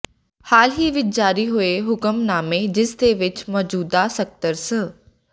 ਹਾਲ ਹੀ ਵਿਚ ਜਾਰੀ ਹੋਏ ਹੁਕਮਨਾਮੇ ਜਿਸ ਦੇ ਵਿਚ ਮੌਜੂਦਾ ਸਕੱਤਰ ਸ